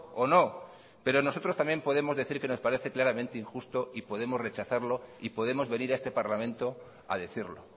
o no pero nosotros también podemos decir que nos parece claramente injusto y podemos rechazarlo y podemos venir a este parlamento a decirlo